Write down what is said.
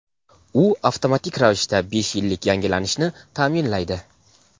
U avtomatik ravishda besh yillik yangilanishni ta’minlaydi.